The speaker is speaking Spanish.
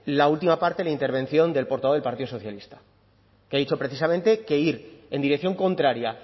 la última parte de la intervención del portavoz del partido socialista que ha dicho precisamente que ir en dirección contraria